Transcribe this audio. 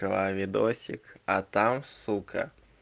открываю видосик а там сука